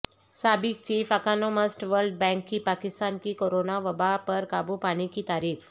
سابق chief economist world bank کی پاکستان کی کورونا وباء پر قابو پانے کی تعریف